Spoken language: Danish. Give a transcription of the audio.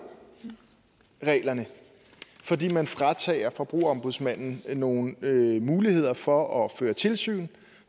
reglerne fordi man fratager forbrugerombudsmanden nogle muligheder for at føre tilsyn